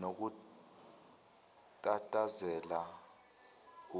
nokutatazela